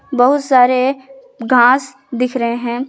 बहुत सारे घास दिख रहे हैं।